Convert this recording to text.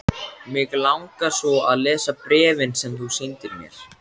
Mig langar svo að lesa bréfin sem þú sýndir mér.